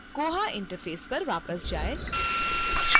koha interface पर वापस जाएँ